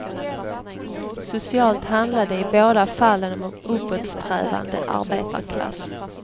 Socialt handlade det i båda fallen om uppåtsträvande arbetarklass.